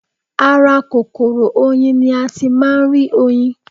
Ara kòkòrò oyin ni a ti máa ń rí oyin